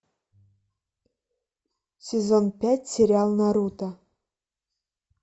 сезон пять сериал наруто